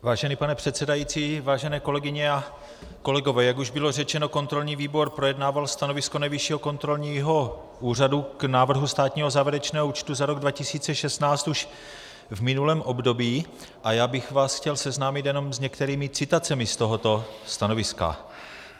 Vážený pane předsedající, vážené kolegyně a kolegové, jak už bylo řečeno, kontrolní výbor projednával stanovisko Nejvyššího kontrolního úřadu k návrhu státního závěrečného účtu za rok 2016 už v minulém období a já bych vás chtěl seznámit jenom s některými citacemi z tohoto stanoviska.